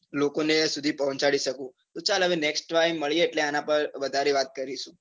લોકો ને સુધી પહોચાડી શકું. તો ચાલ હવે next time મળીયે એટલે આના પર વધારે વાત કરીશું.